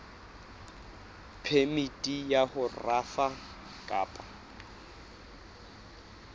phemiti ya ho rafa kapa